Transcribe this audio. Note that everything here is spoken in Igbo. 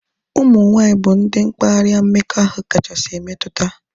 Ụmụ nwaanyị bụ ndị mkparịa mmekọahụ kachasị emetụta